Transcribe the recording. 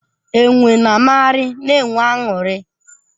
Enwe na amagharị na-enwe aṅụrị.